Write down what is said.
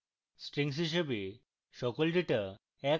strings হিসাবে সকল data এক line প্রদর্শন করে